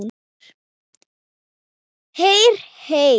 Heyr, heyr.